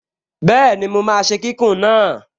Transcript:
Bẹ́ẹ̀ni, mo máa ṣe kíkùn náà